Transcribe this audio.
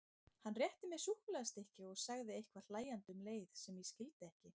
Hann rétti mér súkkulaðistykki og sagði eitthvað hlæjandi um leið sem ég skildi ekki.